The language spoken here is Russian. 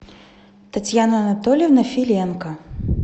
татьяна анатольевна филенко